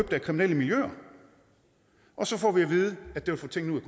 af kriminelle miljøer og så får vi at vide at det vil få tingene ud